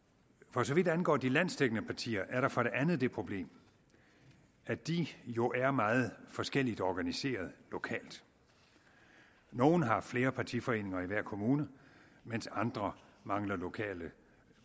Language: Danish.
for så vidt angår de landsdækkende partier er der for det andet det problem at de jo er meget forskelligt organiseret lokalt nogle har flere partiforeninger i hver kommune mens andre mangler lokale